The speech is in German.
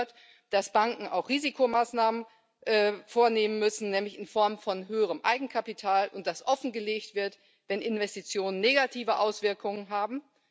Dazu gehört, dass Banken auch Risikomaßnahmen vornehmen müssen, nämlich in Form von höherem Eigenkapital, und dass offengelegt wird, wenn Investitionen negative Auswirkungen haben.